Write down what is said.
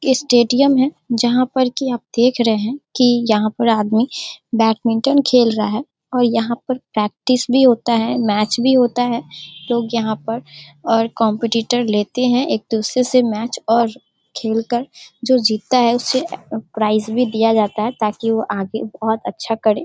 Stadium है जहाँ पर कि आप देख रहे हैं कि यहाँ पर आदमी बैडमिंटन खेल रहा है और यहाँ पर प्रैक्टिस भी होता है मैच भी होता है। लोग यहाँ पर और कॉम्पीटीटर लेते हैं एक दूसरे से मैच और खेलकर जो जीतता है उससे प्राइज भी दिया जाता है ताकि वो आगे बोहत अच्छा करे।